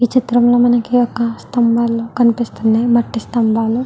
ఈ చిత్రం లో మనకి ఒక స్తంభాలు కనిపిస్తున్నాయ్ మట్టి స్తంభాలు.